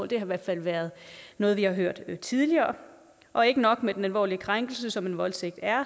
det har i hvert fald været noget vi har hørt tidligere og ikke nok med den alvorlige krænkelse som en voldtægt er